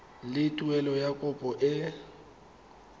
le tuelo ya kopo e